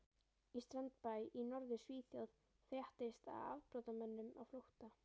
Í strandbæ í Norður-Svíþjóð fréttist af afbrotamönnum á flótta.